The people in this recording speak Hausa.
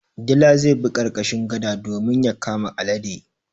Dila zai bi ƙarƙashin gada domin ya kama alade.